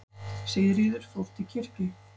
Sigríður fór til kirkju.